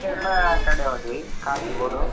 ನಾವ್~ Kerala ಕಡೆ ಹೋದ್ವಿ Kasaragod .